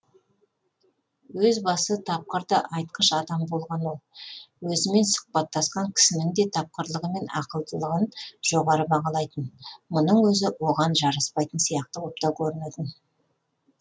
өз басы тапқыр да айтқыш адам болған ол өзімен сұқбаттасқан кісінің де тапқырлығы мен ақылдылығын жоғары бағалайтын мұның өзі оған жараспайтын сияқты боп та көрінетін